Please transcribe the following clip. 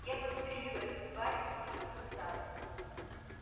я подстрелю эту тварь из засады